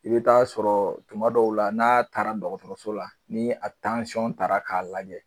I be t'a sɔrɔ tuma dɔw la n'a taara dɔgɔtɔrɔso la ni a tansɔn taara k'a lajɛ